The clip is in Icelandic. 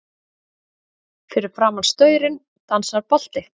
Fyrir framan staurinn dansar bolti.